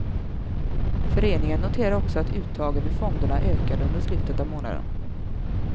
Föreningen noterar också att uttagen ur fonderna ökade under slutet av månaden.